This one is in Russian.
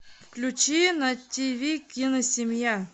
включи на ти ви киносемья